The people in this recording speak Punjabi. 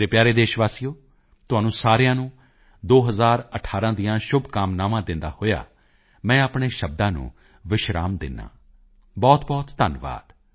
ਮੇਰੇ ਪਿਆਰੇ ਦੇਸ਼ ਵਾਸੀਓ ਤੁਹਾਨੂੰ ਸਾਰਿਆਂ ਨੂੰ 2018 ਦੀਆਂ ਸ਼ੁਭਕਾਮਨਾਵਾਂ ਦਿੰਦਿਆਂ ਹੋਇਆਂ ਮੈਂ ਆਪਣੇ ਸ਼ਬਦਾਂ ਨੂੰ ਵਿਰਾਮ ਦਿੰਦਾ ਹਾਂ ਬਹੁਤਬਹੁਤ ਧੰਨਵਾਦ